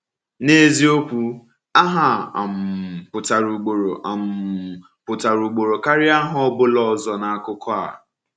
N’eziokwu, aha a um pụtara ugboro um pụtara ugboro karịa aha ọ bụla ọzọ n’akụkọ a.